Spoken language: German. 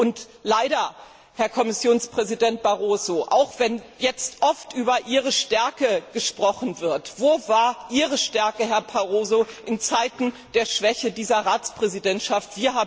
Und leider Herr Kommissionspräsident Barroso, auch wenn jetzt oft über Ihre Stärke gesprochen wird, wo war denn Ihre Stärke in Zeiten der Schwäche dieser Ratspräsidentschaft?